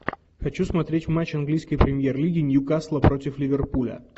хочу смотреть матч английской премьер лиги ньюкасла против ливерпуля